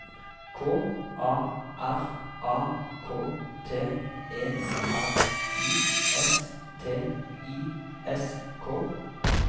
K A R A K T E R I S T I S K